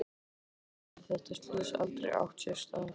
Þá hefði þetta slys aldrei átt sér stað.